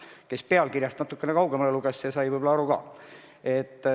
Kes pealkirjast natukene kaugemale luges, see sai võib-olla aru ka.